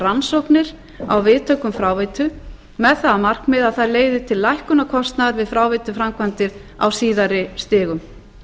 rannsóknir á viðtökum fráveitu með það að markmiði að það leiti til lækkunar kostnaðar við fráveituframkvæmdir á síðari stigum